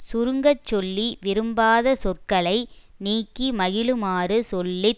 சுருங்கச்சொல்லி விரும்பாத சொற்களை நீக்கி மகிழுமாறு சொல்லி